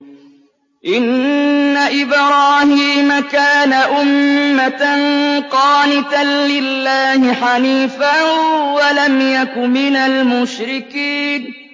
إِنَّ إِبْرَاهِيمَ كَانَ أُمَّةً قَانِتًا لِّلَّهِ حَنِيفًا وَلَمْ يَكُ مِنَ الْمُشْرِكِينَ